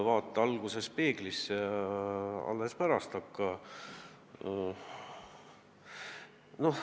Vaata alguses peeglisse, alles pärast seda hakka ...